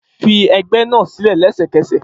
Fi ẹgbẹ́ náà sílẹ̀ lẹ́sẹ̀kẹsẹ̀